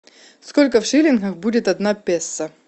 сколько в шиллингах будет одна песо